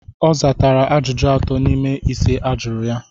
Ọ satara ajụjụ atọ n'ime ise ajụrụ ya.